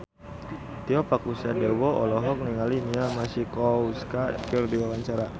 Tio Pakusadewo olohok ningali Mia Masikowska keur diwawancara